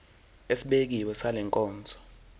esibekiwe sale nkonzo